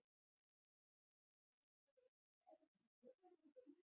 Ertu búinn að yfirgefa Vinstri-græna sem stjórnmálasamtök líka?